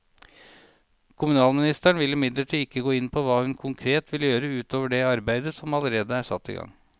Kommunalministeren vil imidlertid ikke gå inn på hva hun konkret vil gjøre ut over det arbeidet som allerede er satt i gang.